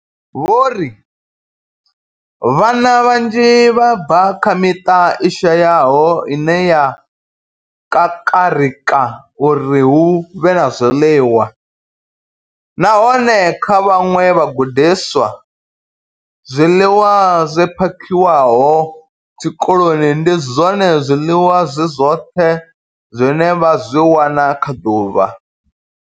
Vho ri vhana vhanzhi vha bva kha miṱa i shayaho ine ya kakarika uri hu vhe na zwiḽiwa, nahone kha vhaṅwe vhagudiswa, zwiḽiwa zwi phakhiwaho tshikoloni ndi zwone zwiḽiwa zwi zwoṱhe zwine vha zwi wana kha ḓuvha.